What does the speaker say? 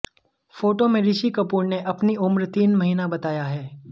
photo में ऋषि कपूर ने अपनी उम्र तीन महीना बताया है